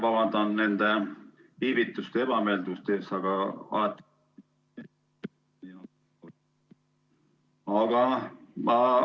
Ma vabandan nende viivituste ja ebameeldivuste pärast!